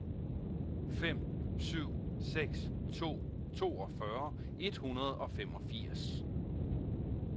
fem syv seks to toogfyrre et hundrede og femogfirs